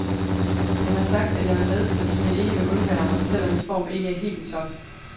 Han har sagt, at jeg er med, fordi han ikke vil undvære mig, selv om min form ikke er helt i top.